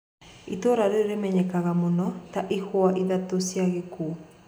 Itũra riu rimenyekanaga mũno ta "ihue ithatũ cia gikuo"